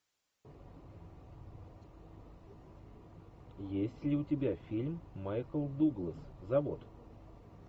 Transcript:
есть ли у тебя фильм майкл дуглас завод